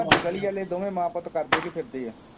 ਤੁਹਾਡੀ ਗਲੀ ਆਲੇ ਦੋਵੇਂ ਮਾਂ ਪੁੱਤ ਕਰਦੇ ਕੀ ਫਿਰਦੇ ਹੈ